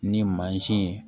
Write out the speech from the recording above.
Ni mansin ye